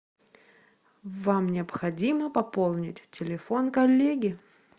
вам необходимо пополнить телефон коллеги